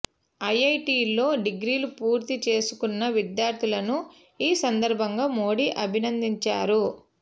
ఐఐటీలో డిగ్రీలు పూర్తి చేసుకున్న విద్యార్థులను ఈ సందర్భంగా మోడీ అభినందించారు